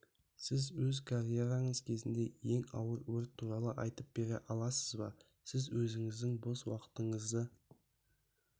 сіз өз карьераңыз кезінде ең ауыр өрт туралы айтып бере аласыз ба сіз өзіңіздің бос уақытыңызды